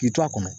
K'i to a kɔnɔ